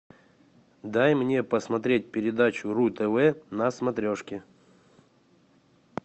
дай мне посмотреть передачу ру тв на смотрешке